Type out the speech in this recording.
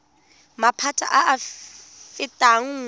maphata a a fetang nngwe